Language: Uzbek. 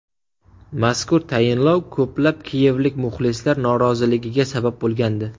Mazkur tayinlov ko‘plab kiyevlik muxlislar noroziligiga sabab bo‘lgandi.